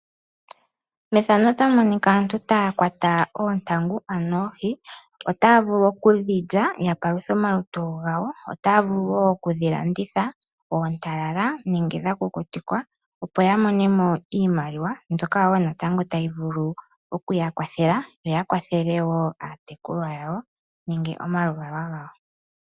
Efano otali ulike aantu taya kwata oontangu ano oohi ota vulu wo oku dhilya ya paluthe omalutu gawo. Otaa vulu wo oku dhi landitha oontalala nenge dha kukutikwa opo ya monemo iimaliwa mbyoka wo natango tayi vulu okuya kwathela yo ya kwathele wo aatekulwa yawo nenge omaluvalwa gawo.